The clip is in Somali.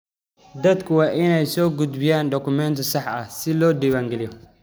Dadku waa inay soo gudbiyaan dukumeenti sax ah si loo diiwaangeliyo.